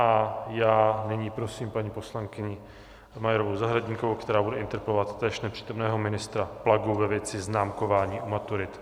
A já nyní prosím paní poslankyni Majerovou Zahradníkovou, která bude interpelovat též nepřítomného ministra Plagu ve věci známkování u maturit.